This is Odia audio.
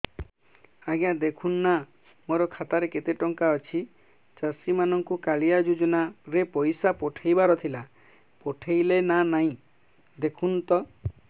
ଆଜ୍ଞା ଦେଖୁନ ନା ମୋର ଖାତାରେ କେତେ ଟଙ୍କା ଅଛି ଚାଷୀ ମାନଙ୍କୁ କାଳିଆ ଯୁଜୁନା ରେ ପଇସା ପଠେଇବାର ଥିଲା ପଠେଇଲା ନା ନାଇଁ ଦେଖୁନ ତ